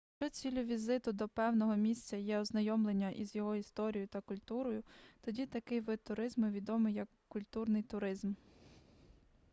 якщо ціллю візиту до певного місця є ознайомлення із його історією та культурою тоді такий вид туризму відомий як культурний туризм